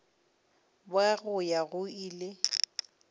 bja go ya go ile